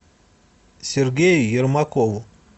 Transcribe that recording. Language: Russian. сергею ермакову